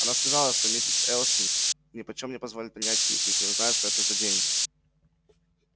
она сказала что миссис элсинг нипочём не позволит принять их если узнает что это за деньги